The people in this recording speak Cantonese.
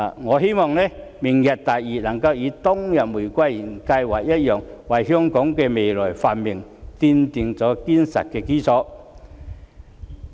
我希望"明日大嶼"能夠與當日的玫瑰園計劃一樣，為香港未來的繁榮，奠定堅實的基礎。